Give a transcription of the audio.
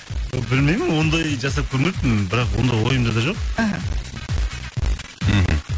білмеймін ондай жасап көрмеппін бірақ ондай ойымда да жоқ іхі мхм